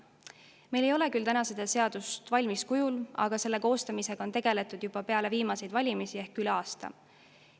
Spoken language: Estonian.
Meil ei ole küll täna seda seadust valmis kujul, aga selle koostamisega hakati tegelema juba peale viimaseid valimisi ehk on tegeletud üle aasta.